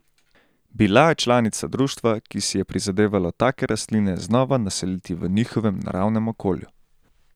Bila je članica društva, ki si je prizadevalo take rastline znova naseliti v njihovem naravnem okolju.